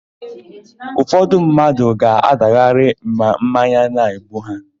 Ụfọdụ mmadụ ga-adagharị ma mmanya na-egbu ha.